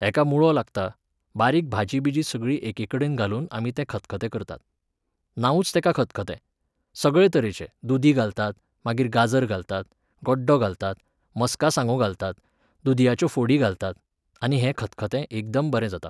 हेका मुळो लागता, बारीक भाजी बिजी सगळी एकेकडेन घालून तें आमी खतखतें करतात. नांवूच तेका खतखतें. सगळे तरेचे, दुदी घालतात, मागीर गाजर घालतात, गड्डो घालतात, मस्का सांगो घालतात, दुदयाच्यो फोडी घालतात, आनी हें खतखतें एकदम बरें जाता.